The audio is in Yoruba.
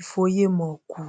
ìfòyemọ kù